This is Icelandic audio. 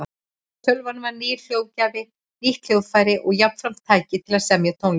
Tölvan er nýr hljóðgjafi, nýtt hljóðfæri og jafnframt tæki til að semja tónlist.